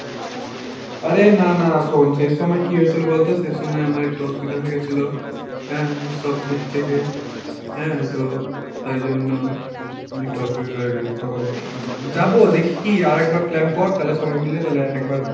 আরে না না, শোন সেই সময় কী হয়েছিল বলতো সেই সময় আমার একটু অসুবিধা হয়ে গেছিল, হম সব দিক থেকে হম তো তাই জন্য একটু অসুবিধা হয়ে গেল তো যাব দেখি, আরেকবার plan কর তালে সবাই মিলে তালে একবার